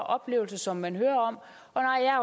oplevelser som man hører om